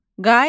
Qaymaq.